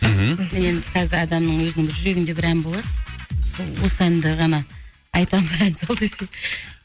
мхм мен адамның өзінің бір жүрегінде бір ән болады сол осы әнді ғана айтамын ән сал десе